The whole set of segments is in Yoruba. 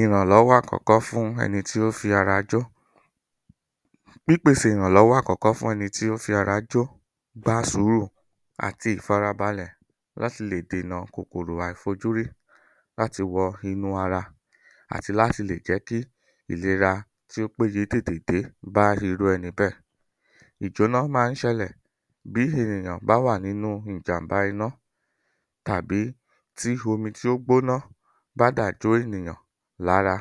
ìrànlọ́wọ́ àkọ́kọ́ fún ẹni tí ó fi ara jó pípèsè ìrànlọ́wọ́ àkọ́kọ́ fún ẹ́ni tí ó fi ara jọ́ gba sùúrù àti ìfarabalẹ̀ láti lè dènà kòkòrò àìfojúrí láti wọ inú ara àti láti lè jẹ́ kí ilèra tí ó péye tètè dé bá irú ẹni bẹ́ẹ̀ ìjóná máa ń ṣelẹ̀ bí ènìyàn bá wà nínú ìjàm̀bá iná tàbí tí omi tí ó gbóná bá dà jó ènìyàn lára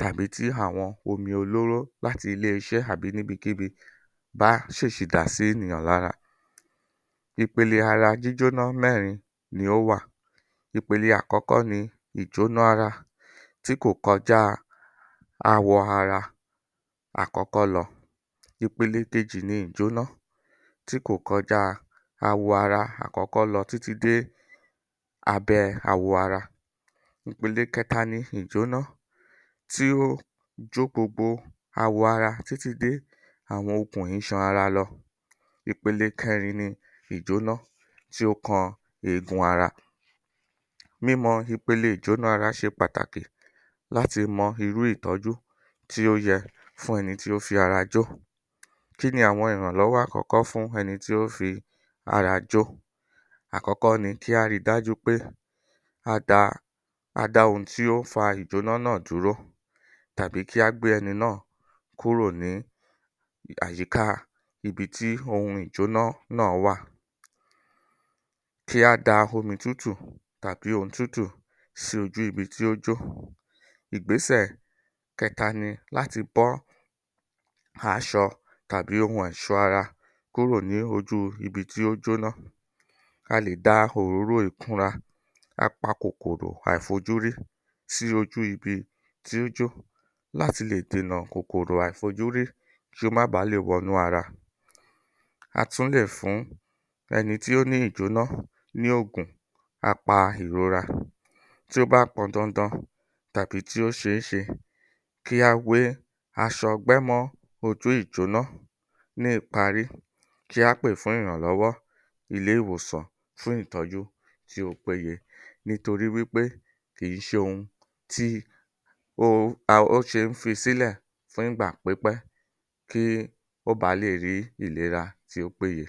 tàbí tí àwọn omi olóró láti ilé iṣẹ́ tàbí níbikíbi bá ṣèsì dà sí ènìyàn lára ipele ara jíjóná mẹ́rin ni ó wà ìpele àkọ́kọ́ ni ìjóná ara tí kò kọjá awọ ara àkọ́kọ́ lọ ipele kejì ni ìjóná tí kò kọjá awọ ara àkọ́kọ́ lọ títí dé abẹ́ awọ ara ìpele kẹta ni ìjóná tí ó jó gbogbo àwọ̀ ara títí dé àwọn okùn iṣan ara lọ ipele kẹrin ni ìjóná tí ó kan eegun ara mímọ ipele ìjóná ara ṣe pàtàkì láti mọ irú ìtọ́jú tí ó yẹ fún ẹni tí ó fi ara jó kíni àwọn ìrànlọwọ àkọ́kọ́ fún ẹni tí ó fi ara jó àkọ́kọ́ ni kí á rí i dájú pé a da a-dá-ohun-tí ó fa ìjóná náà dúró tàbí kí á gbé ẹni náà kúrò ní àyíká ibi tí ohun ìjóná náà wà kí á da omi tútù tàbí ohun tútù sí ojú ibi tí ó jó ìgbésẹ̀ kẹta ni láti bọ́ aṣọ tàbí ohun ẹ̀ṣọ́ ara kúrò ní ojú ibi tí ó jóná a lè da òróró ìtura a-pa-kòkòrò àìfojúrí sí ojú ibi tí ó jó láti lè dènà kòkòrò àìfojúrí kí ó má bà lé wọnú ara a tún lè fún ẹni tí ó ní ìjóná ní ògùn a-pa-ìrora tí ó bá pọndandan tàbí tí ó ṣeéṣe kí á wé aṣọ ọgbẹ́ mọ́ ojú ìjóná ní ìparí kí á pè fún ìrànlọ́wọ́ ilé-ìwòsàn fún ìtọ́jú tí ó péye nitorí wí pé kìí ṣohun ti a ó ṣe fi ń sílẹ̀ fún ìgbà pípẹ́ kí ó bà lè rí ìlera tí ó péye